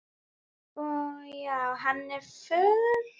Og já, hann á föður.